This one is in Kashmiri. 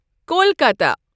کۄلکتَہ